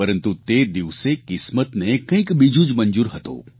પરંતુ તે દિવસે કિસ્મતને કંઇક બીજું જ મંજૂર હતું